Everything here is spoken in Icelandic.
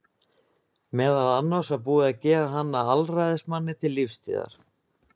meðal annars var búið að gera hann að alræðismanni til lífstíðar